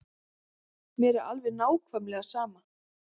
Mér er alveg nákvæmlega sama.